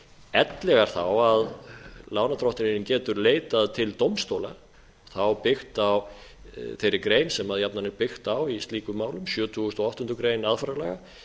ellegar þá að lánardrottinn getur leitað til dómstóla og þá byggt á þeirri grein sem jafnan er byggt á í slíkum málum sjötugasta og áttundu greinar aðfararlaga